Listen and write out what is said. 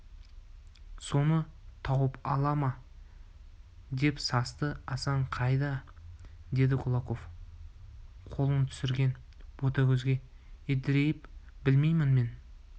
соны тауып ала ма деп састы асан қайда деді кулаков қолын түсірген ботагөзге едірейіп білмеймін мен